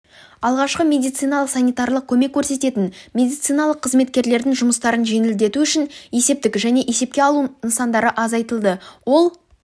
алғашқы медициналық-санитарлық көмек көрсететін медициналық қызметкерлердің жұмыстарын жеңілдету үшін есептік және есепке алу нысандары азайтылды ол